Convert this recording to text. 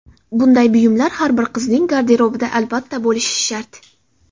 Bunday buyumlar har bir qizning garderobida albatta bo‘lishi shart.